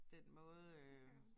Den måde øh